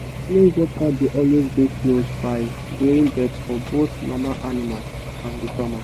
clean water dey always dey close by during birth for both mama animal and the farmer.